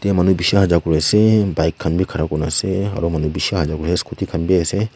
yate manu bisi ahaja kori ase bike khan bhi khara kori ase aru manu bisi aaja kori ase aru scooty khan bhi ase.